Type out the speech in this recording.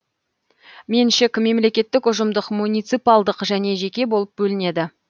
меншік мемлекеттік ұжымдық муниципалдық және жеке болып бөлінеді